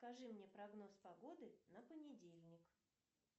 скажи мне прогноз погоды на понедельник